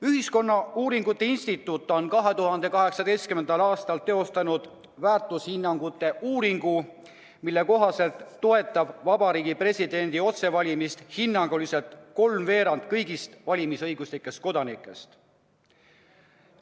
Ühiskonnauuringute Instituut on 2018. aastal teinud väärtushinnangute uuringu, mille kohaselt toetab Eesti Vabariigi presidendi otsevalimist hinnanguliselt kolmveerand kõigist valimisõiguslikest kodanikest.